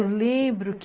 Eu lembro que